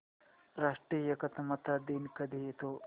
राष्ट्रीय एकात्मता दिन कधी येतो